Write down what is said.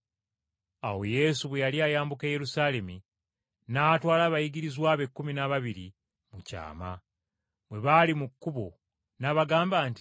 Awo Yesu bwe yali ayambuka e Yerusaalemi n’atwala abayigirizwa be ekkumi n’ababiri, mu kyama. Bwe baali mu kkubo, n’abagamba nti,